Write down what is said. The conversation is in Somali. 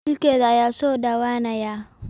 Wiilkeeda ayaa soo dhawaanaya